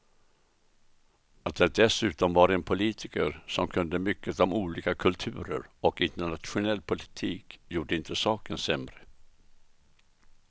Att det dessutom var en politiker som kunde mycket om olika kulturer och internationell politik gjorde inte saken sämre.